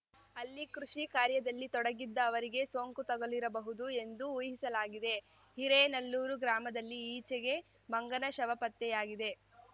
ಅಲ್ಲಿ ಕೃಷಿ ಕಾರ್ಯದಲ್ಲಿ ತೊಡಗಿದ್ದ ಅವರಿಗೆ ಸೋಂಕು ತಗುಲಿರಬಹುದು ಎಂದು ಊಹಿಸಲಾಗಿದೆ ಹಿರೇನೆಲ್ಲೂರು ಗ್ರಾಮದಲ್ಲಿ ಈಚೆಗೆ ಮಂಗನ ಶವ ಪತ್ತೆಯಾಗಿದೆ